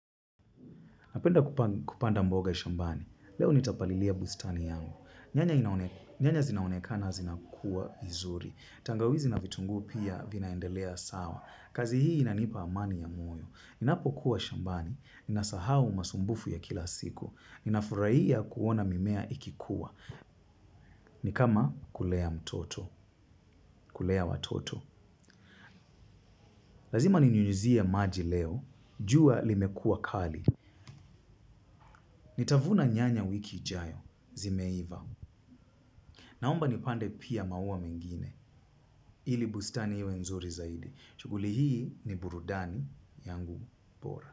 Napenda kupanda mboga shambani. Leo nitapalilia bustani yangu. Nyanya zinaonekana zinakuwa vizuri. Tangawizi na vitungu pia vinaendelea sawa. Kazihi inanipa amani ya moyo. Ninapo kuwa shambani. Ninasahau masumbufu ya kila siku. Ninafuraiya kuona mimea ikikuwa. Ni kama kulea mtoto. Kulea watoto. Lazima ninyunyuzie maji leo. Jua limekua kali. Nitavuna nyanya wiki ijayo. Zimeiva. Naomba nipande pia maua mengine ili bustani iwe nzuri zaidi. Shughuli hii, ni burudani, yangu, bora.